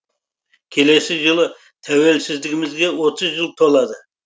келесі жылы тәуелсіздігімізге отыз жыл толады